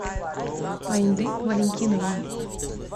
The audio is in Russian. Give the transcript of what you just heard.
айнды валентиновна